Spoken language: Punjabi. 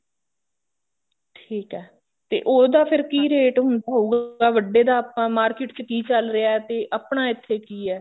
ਠੀਕ ਐ ਤੇ ਉਹਦਾ ਫੇਰ ਕੀ rate ਹੋਊਗਾ ਵੱਡੇ ਦਾ ਆਪਾਂ market ਚ ਕੀ ਚੱਲ ਰਿਹਾ ਤੇ ਆਪਣਾ ਇੱਥੇ ਕੀ ਐ